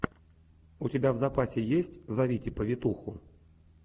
у тебя в запасе есть зовите повитуху